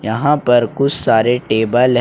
यहां पर कुछ सारे टेबल --